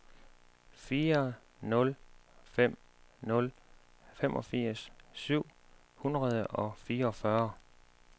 fire nul fem nul femogfirs syv hundrede og fireogfyrre